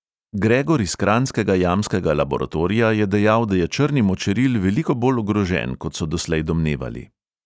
Gregor iz kranjskega jamskega laboratorija je dejal, da je črni močeril veliko bolj ogrožen, kot so doslej domnevali.